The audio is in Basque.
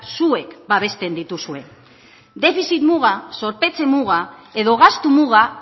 zuek babesten dituzue defizit muga zorpetze muga edo gastu muga